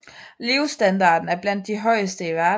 Levestandarden er blandt de højeste i verden